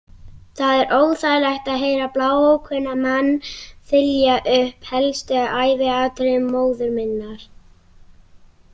Það er óþægilegt að heyra bláókunnugan mann þylja upp helstu æviatriði móður minnar.